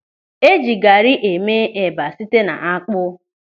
Eji gari eme eba site n'akpụ.